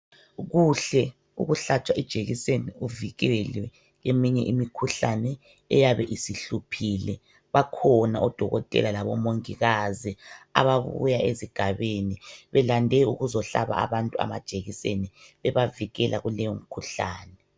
Kuhle ukuhlatshwa ijekiseni uvikelwe eminye imikhuhlane eyabe isihluphile. Bakhona odokotela labomongikazi ababuya ezigabeni belande ukuzohlaba abantu amajekiseni bebavikela kuleyo mkhuhlane.